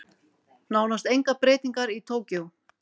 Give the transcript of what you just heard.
Nánast engar breytingar í Tókýó